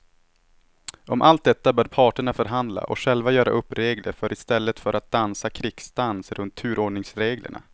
Om allt detta bör parterna förhandla och själva göra upp regler för i stället för att dansa krigsdans runt turordningsreglerna.